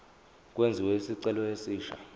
kwenziwe isicelo esisha